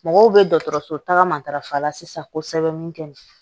Mɔgɔw bɛ dɔgɔtɔrɔso tagama sisan ko sɛbɛn min kɛ